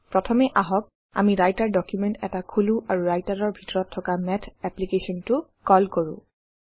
প্ৰথমে আহক আমি ৰাইটাৰ ডুকুমেন্ট এটা খোলো আৰু Writer-ৰ ভিতৰত থকা মাথ এপ্লিকেশ্যনটো কল কৰোঁ